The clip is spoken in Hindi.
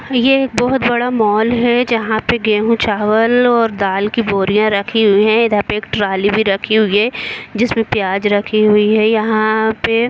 ये एक बहुत बड़ा मॉल है जहाँ पे गेह चावल और दल की बोरियाँ रखी हुई है जहा पे एक ट्राली भी रखी हुई है जिसपे प्याज रखी हुई है। यहाँ पे--